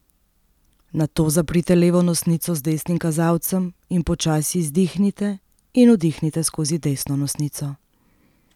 Nato zaprite levo nosnico z desnim kazalcem in počasi izdihnite in vdihnite skozi desno nosnico.